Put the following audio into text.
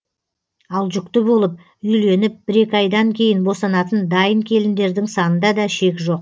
ал жүкті болып үйленіп бір екі айдан кейін босанатын дайын келіндердің санында да шек жоқ